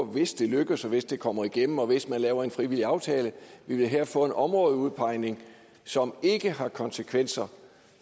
hvis det lykkes og hvis det kommer igennem og hvis man laver en frivillig aftale her få en områdeudpegning som ikke har konsekvenser